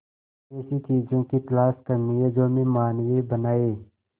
ऐसी चीजों की तलाश करनी है जो हमें मानवीय बनाएं